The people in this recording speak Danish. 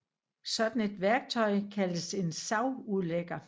Sådan et værktøj kaldes en savudlægger